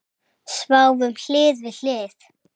Sváfum hlið við hlið.